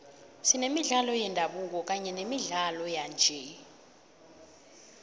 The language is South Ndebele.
senemidlalo yendabuko kanye nemidlalo yanje